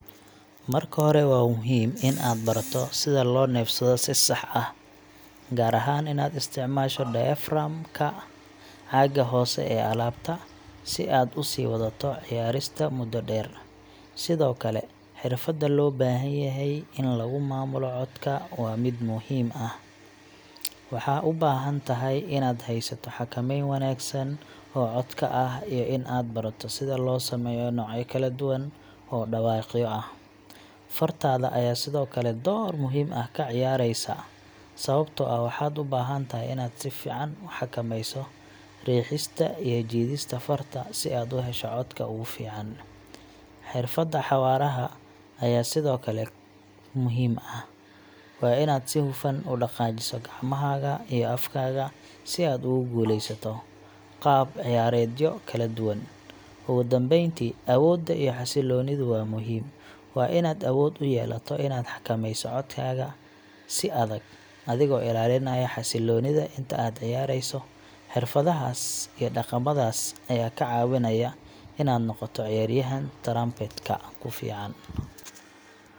Marka hore, waa muhiim inaad barato sida loo neefsado si sax ah, gaar ahaan inaad isticmaasho diaphragm ka caaga hoose ee laabta si aad u sii wadato ciyaarista muddo dheer. Sidoo kale, xirfadda loo baahan yahay in lagu maamulo codka waa mid muhiim ah, waxaad u baahan tahay inaad haysato xakameyn wanaagsan oo codka ah iyo in aad barato sida loo sameeyo noocyo kala duwan oo dhawaaqyo ah. Fartaada ayaa sidoo kale door muhiim ah ka ciyaaraysa, sababtoo ah waxaad u baahan tahay inaad si fiican u xakameyso riixista iyo jiidista farta si aad u hesho codka ugu fiican. Xirfadda xawaaraha ayaa sidoo kale muhiim ah, waana inaad si hufan u dhaqaajiso gacmahaaga iyo afkaaga si aad ugu guuleysato qaab ciyaareedyo kala duwan. Ugu dambeyntii, awoodda iyo xasiloonidu waa muhiim. Waa inaad awood u yeelato inaad xakameyso codkaaga si adag, adigoo ilaalinaya xasiloonida inta aad ciyaareyso. Xirfadahaas iyo dhaqamadaas ayaa kaa caawinaya inaad noqoto ciyaaryahan trumpet ka ku fiican.